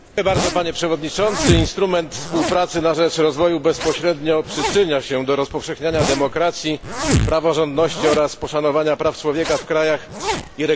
Instrument współpracy na rzecz rozwoju bezpośrednio przyczynia się do rozpowszechniania demokracji, praworządności oraz poszanowania praw człowieka w krajach i regionach partnerskich.